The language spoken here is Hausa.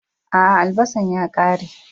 A'a, albasan ya kare.